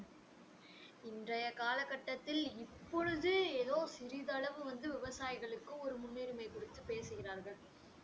இன்றைய கால கட்டத்தில் இப்பொழுது எதோ சிறிதளவு வந்து விவசாயிகளுக்கு ஒரு முன்னுரிமை குடுத்து பேசுகிறார்கள்